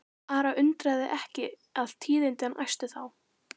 Ara undraði ekki að tíðindin æstu þá.